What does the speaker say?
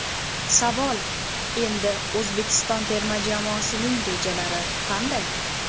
Savol: Endi O‘zbekiston terma jamoasining rejalari qanday?